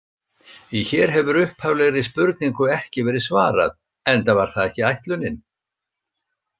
Hér hefur upphaflegri spurningu ekki verið svarað, enda var það ekki ætlunin.